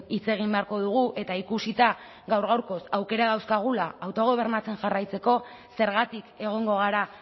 hitz egin beharko dugu eta ikusita gaur gaurkoz aukerak dauzkagula autogobernatzen jarraitzeko zergatik egongo gara